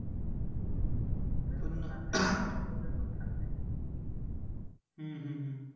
रोज या ठिकाणी येत होता. माझी संपत्ती पाहून मला खूप आनंद होत होता परंतु यापुढे मला कधीही आनंद मिळणार नाही. हे सर्व एकूण समज्य माणसाने त्याला उपयोग सांगितला.